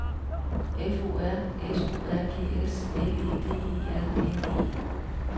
F O R S O R G S L E D E R N E